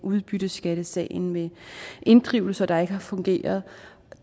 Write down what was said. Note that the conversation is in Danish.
udbytteskattesagen med inddrivelser der ikke har fungeret